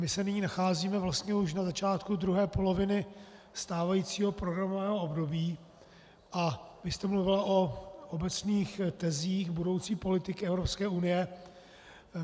My se nyní nacházíme vlastně už na začátku druhé poloviny stávajícího programového období a vy jste mluvila o obecných tezích budoucí politiky Evropské unie.